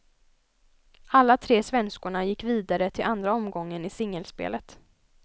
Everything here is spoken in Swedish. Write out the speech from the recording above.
Alla tre svenskorna gick vidare till andra omgången i singelspelet.